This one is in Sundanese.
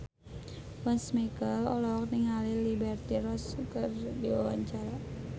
Once Mekel olohok ningali Liberty Ross keur diwawancara